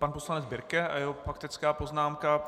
Pan poslanec Birke a jeho faktická poznámka.